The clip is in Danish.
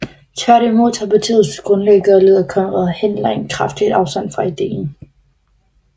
Tværtimod tog partiets grundlægger og leder Konrad Henlein kraftigt afstand fra idéen